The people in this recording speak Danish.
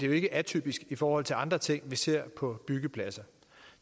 jo ikke atypisk i forhold til andre ting vi ser på byggepladser